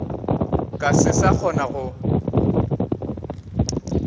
ka se sa kgona go